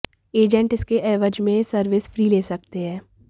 agent इसके एवज में सर्विस फी ले सकते हैं